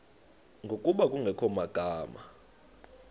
ngokuba kungekho magama